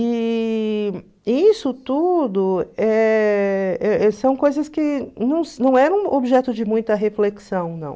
E isso tudo eh eh eh são coisas que não eram objeto de muita reflexão, não.